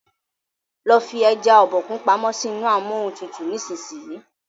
lo fí eja Obokun pàmò sí inú Amóhuntutù nísìsiyìí!